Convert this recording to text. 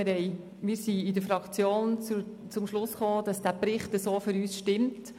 Zum anderen kamen wir in der Fraktion zum Schluss, dass dieser Bericht, wie er nun vorliegt, für uns stimmt.